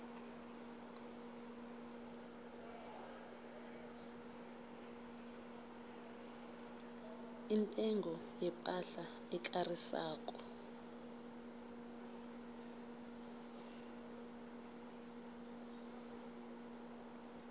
intengo yepahla ekarisako